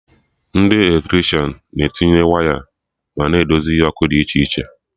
Ndị Eletrishan na etinye waya ma edozi ihe ọkụ dị iche iche